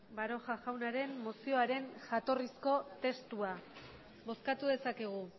baroja jaunaren mozioaren jatorrizko testua bozkatu dezakegu